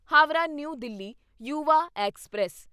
Howrah New Delhi Yuva express